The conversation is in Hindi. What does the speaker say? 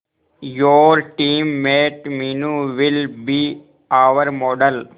your teammate Meenu will be our model